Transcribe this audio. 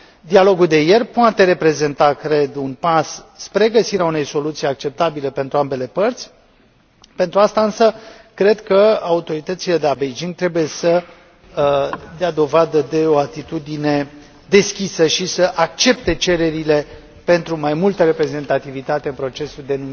Dialogul de ieri poate reprezenta, cred, un pas spre găsirea unei soluții acceptabile pentru ambele părți, pentru asta, însă, cred că autoritățile de la Beijing trebuie să dea dovadă de o atitudine deschisă și să accepte cererile pentru mai multă reprezentativitate în procesul de